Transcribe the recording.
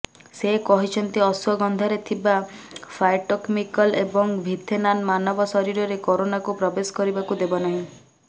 ସେ କହିଛନ୍ତି ଅଶ୍ୱଗନ୍ଧାରେ ଥିବା ଫାଏଟୋକେମିକଲ ଏବଂ ଭିଥେନାନ୍ ମାନବ ଶରୀରରେ କରୋନାକୁ ପ୍ରବେଶ କରିବାକୁ ଦେବ ନାହିଁ